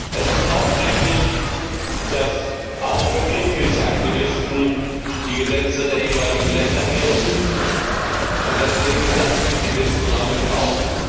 Es ist auch richtig, dass auch für Greenpeace Aktivisten die Gesetze der jeweiligen Länder gelten, und das nehmen diese Aktivisten auch in Kauf.